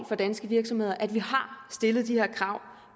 for danske virksomheder at vi har stillet de her krav